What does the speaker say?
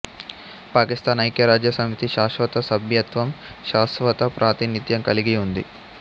పాకిస్థాన్ ఐఖ్యరాజ్యసమితి శాశ్వత సభ్యత్వం శాస్వత ప్రాతినిధ్యం కలిగి ఉంది